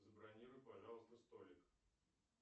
забронируй пожалуйста столик